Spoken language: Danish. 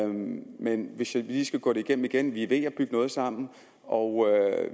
men hvis jeg lige skal gå det igennem igen vi er ved at bygge noget sammen og